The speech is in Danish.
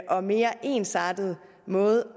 og mere ensartet måde